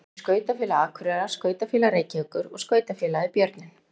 Þau eru Skautafélag Akureyrar, Skautafélag Reykjavíkur og Skautafélagið Björninn.